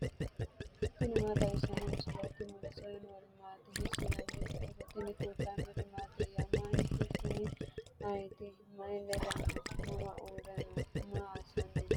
tini maa xawissanno misileeti ? mulese noori maati ? hiissinannite ise ? tini kultannori mattiya? Manchu kunni ayiitti? Mayi ledo noo? mama uure noo? maa assanni nooho?